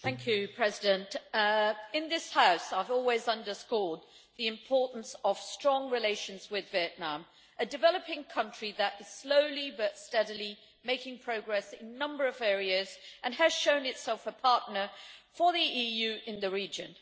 Madam President, in this House I have always underscored the importance of strong relations with Vietnam, a developing country that is slowly but steadily making progress in a number of areas and has shown itself a partner for the EU in the region.